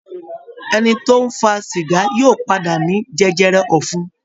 Ẹni tó ń fa sìgá yóò padà ní jẹjẹrẹ ọ̀fun